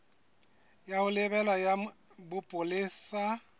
ya ho lebela ya bopolesa